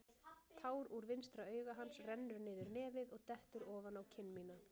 Tár úr vinstra auga hans rennur niður nefið og dettur ofan á kinn mína.